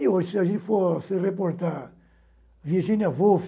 E hoje, se a gente for se reportar, Virginia Woolf,